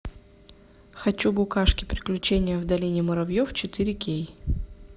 хочу букашки приключения в долине муравьев четыре кей